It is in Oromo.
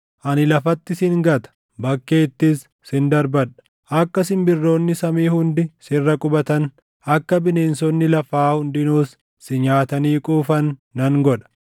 Ani lafatti sin gata; bakkeettis sin darbadha. Akka simbirroonni samii hundi sirra qubatan, akka bineensonni lafaa hundinuus si nyaatanii quufan nan godha.